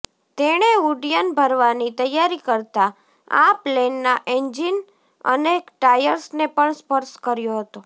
તેણે ઉડ્યન ભરવાની તૈયારી કરતા આ પ્લેનના એન્જિન અને ટાયર્સને પણ સ્પર્શ કર્યો હતો